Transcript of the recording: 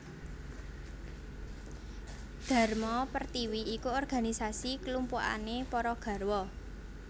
Dharma Pertiwi iku organisasi klumpukane para garwa